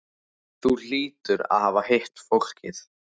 Þú hlýtur að hafa hitt fólkið.